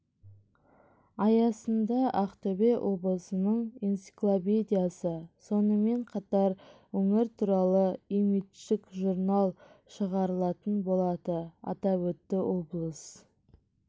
аясында ақтөбе облысының энциклопедиясы сонымен қатар өңір туралы имидждік журнал шығарылатын болады атап өтті облыс